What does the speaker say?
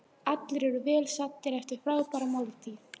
Allir eru vel saddir eftir frábæra máltíð.